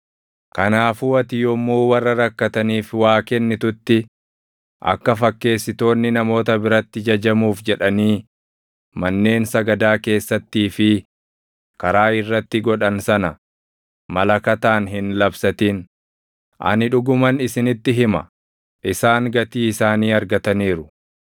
“Kanaafuu ati yommuu warra rakkataniif waa kennitutti akka fakkeessitoonni namoota biratti jajamuuf jedhanii manneen sagadaa keessattii fi karaa irratti godhan sana malakataan hin labsatin. Ani dhuguman isinitti hima; isaan gatii isaanii argataniiru.